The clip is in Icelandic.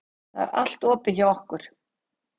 Það er allt opið hjá okkur.